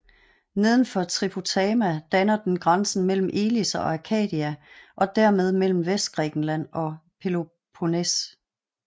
Nedenfor Tripotama danner den grænsen mellem Elis og Arcadia og dermed mellem Vestgrækenland og Peloponnes